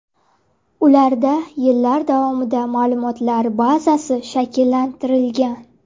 Ularda yillar davomida ma’lumotlar bazasi shakllantirilgan.